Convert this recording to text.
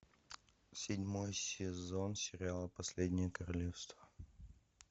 седьмой сезон сериала последнее королевство